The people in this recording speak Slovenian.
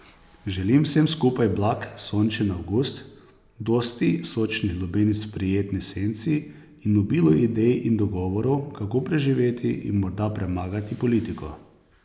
Želim vsem skupaj blag sončen avgust, dosti sočnih lubenic v prijetni senci in obilo idej in dogovorov, kako preživeti in morda premagati politiko.